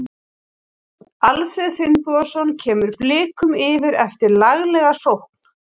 Alfreð Finnbogason kemur Blikum yfir eftir laglega sókn.